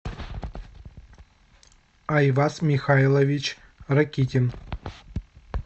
айваз михайлович ракитин